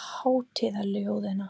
hátíðaljóðanna.